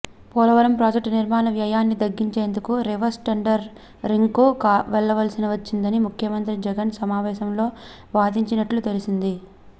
Polavaram project నిర్మాణ వ్యయాన్ని తగ్గించేందుకే రివర్స్ టెండరింగ్కు వెళ్లవలసి వచ్చిందని ముఖ్యమంత్రి జగన్ సమావేశంలో వాదించినట్లు తెలిసింది